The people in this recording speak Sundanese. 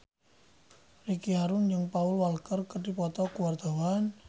Ricky Harun jeung Paul Walker keur dipoto ku wartawan